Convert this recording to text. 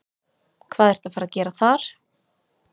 Hvað ertu að fara að gera þar?